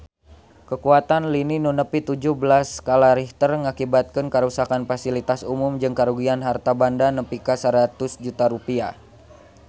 Kakuatan lini nu nepi tujuh belas skala Richter ngakibatkeun karuksakan pasilitas umum jeung karugian harta banda nepi ka 100 juta rupiah